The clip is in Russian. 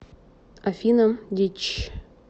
афина дичь